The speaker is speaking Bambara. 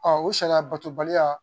o sariya batobaliya